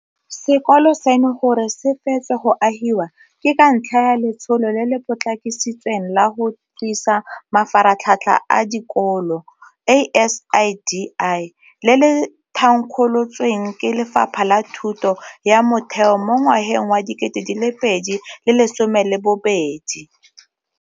Sekolo seno gore se fetswe go agiwa ke ka ntlha ya Letsholo le le Potlakisitsweng la go Tlisa Mafaratlhatlha a Dikolo ASIDI, le le thankgolotsweng ke Lefapha la Thuto ya Motheo mo ngwageng wa 2012.